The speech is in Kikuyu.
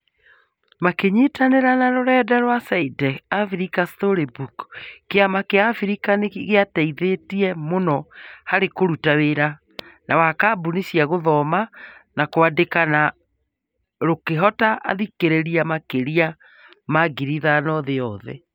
Makĩnyitanĩra na rũrenda rwa Saide's African Storybook, kĩama kĩa Africa nĩ gĩteithĩtie mũno harĩ kũruta wĩra wa kambĩini cia gũthoma na kwandĩka na rũkĩhota athikĩrĩria makĩria ma 5,000 thĩ yothe.